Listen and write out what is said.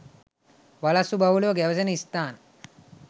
වලස්සු බහුලව ගැවසෙන ස්ථාන